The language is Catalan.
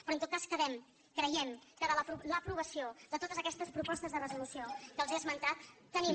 però en tot cas creiem que amb l’aprovació de totes aquestes propostes de resolució que els he esmentat tenim